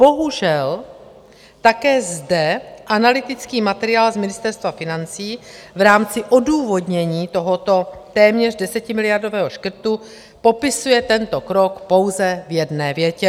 Bohužel také zde analytický materiál z Ministerstva financí v rámci odůvodnění tohoto téměř 10miliardového škrtu popisuje tento krok pouze v jedné větě.